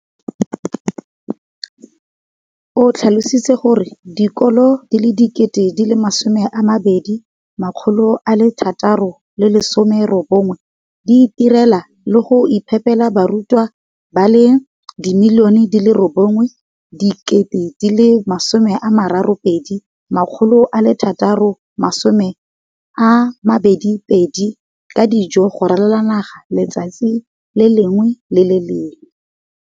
o tlhalositse gore dikolo di le 20 619 di itirela le go iphepela barutwana ba le 9 032 622 ka dijo go ralala naga letsatsi le lengwe le le lengwe.